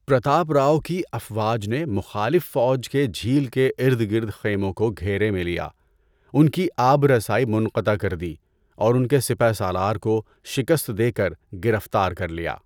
پرتاپ راؤ کی افواج نے، مخالف فوج کے جھیل کے ارد گرد خیموں کو گھیرے میں لیا، ان کی آب رسائی منطقع کر دی، اور ان کے سپہ سالار کو شکست دے کر گرفتار کر لیا۔